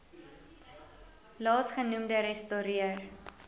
laas genoemde ressorteer